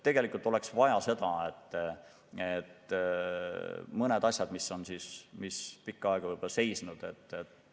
Tegelikult oleks vaja seda, et mõned asjad, mis on pikka aega seisnud,.